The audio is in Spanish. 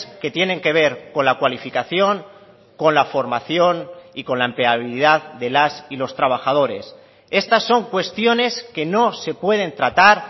que tienen que ver con la cualificación con la formación y con la empleabilidad de las y los trabajadores estas son cuestiones que no se pueden tratar